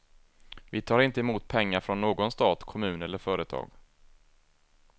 Vi tar inte emot pengar från någon stat, kommun eller företag.